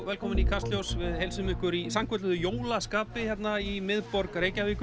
velkomin í Kastljós við heilsum ykkur í sannkölluðu jólaskapi hérna í miðborg Reykjavíkur